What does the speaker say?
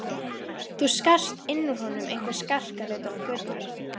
Það skarst inn úr honum einhver skarkali utan af götunni.